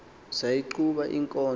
sayi qhuba inkonzo